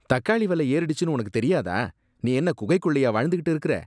தக்காளி விலை ஏறிடுச்சுன்னு உனக்கு தெரியாதா? நீ என்ன குகைகுள்ளயா வாழ்ந்துகிட்டு இருக்கிற?